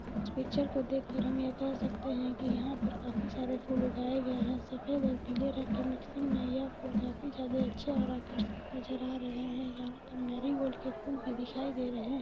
Picture को देखकर हम कह सकते है की यहां पे काफी सारे फूल उगाये गए है और ये हरे और पीले रंग के मिक्सिंग में यह फुल जायदा अच्छे और आकर्षित नजर आ रहे हे यहां पे मेरी गोल्ड के फुल भी दिखाय दे रहे है।